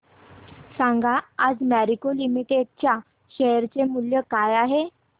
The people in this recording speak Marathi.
सांगा आज मॅरिको लिमिटेड च्या शेअर चे मूल्य काय आहे